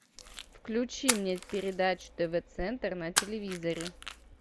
включи мне передачу тв центр на телевизоре